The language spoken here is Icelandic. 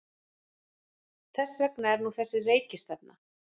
Þess vegna er nú þessi rekistefna.